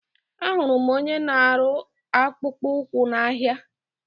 Ahụrụ m onye na-arụ akpụkpọ ụkwụ n'ahia.